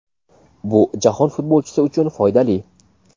bu jahon futbolchi uchun foydali.